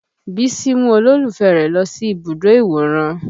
Bísí mú olólùfẹ́ rẹ̀ lọ sí ibùdó ìwòran